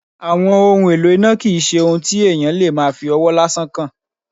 Àwọn ohun èlò iná kì í ṣe ohun tí èèyàn lè máa fí ọwọ́ lásán kan